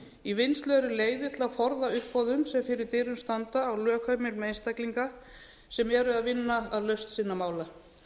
í vinnslu eru leiðir til að forða uppboðum sem fyrir dyrum standa á lögheimilum einstaklinga sem eru að vinna að lausn sinna mála